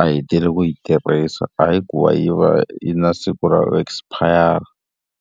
a hetile ku yi tirhisa hayi ku va yi va yi ri na siku ra ku esipayara.